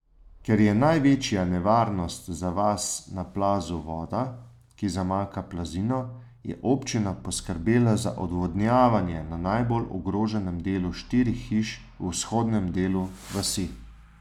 Ker je največja nevarnost za vas na plazu voda, ki zamaka plazino, je občina poskrbela za odvodnjavanje na najbolj ogroženem delu štirih hiš v vzhodnem delu vasi.